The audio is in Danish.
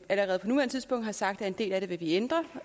allerede på nuværende tidspunkt har sagt at en del af det vil vi ændre